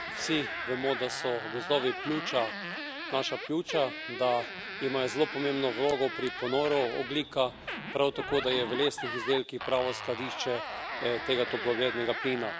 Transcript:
Vsi vemo, da so gozdovi naša pljuča, da imajo zelo pomembno vlogo pri ponoru ogljika, prav tako da je v lesnih izdelkih pravo skladišče tega toplogrednega plina.